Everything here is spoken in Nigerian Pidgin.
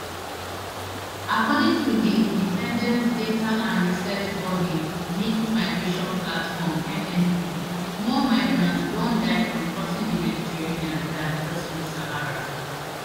according to di independent data and research body mixed migration platform mmp more migrants don die from crossing di mediterranean dan crossing di sahara